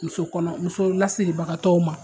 Muso kɔnɔ muso lasebagatɔw ma